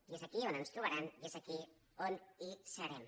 i és aquí on ens trobaran i és aquí on serem